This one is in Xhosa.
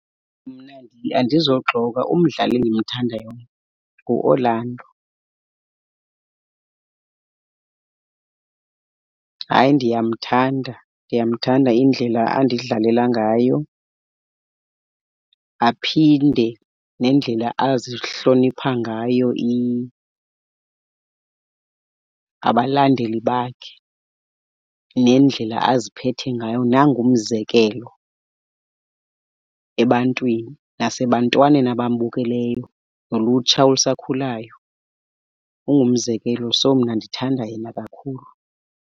Mna andizoxoka, umdlali endimthandayo nguOrlando. Hayi ndiyamthanda, ndiyamthanda indlela andidlalela ngayo. Aphinde nendlela azihlonipha ngayo abalandeli bakhe nendlela aziphethe ngayo nangumzekelo ebantwini nasebantwaneni abambukeleyo nolutsha olusakhulayo, ungumzekelo. So mna ndithanda yena kakhulu.